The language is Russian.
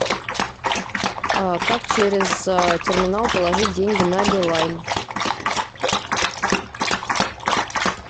как через терминал положить деньги на билайн